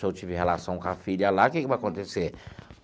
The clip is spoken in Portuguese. Se eu tive relação com a filha lá, o que que vai acontecer?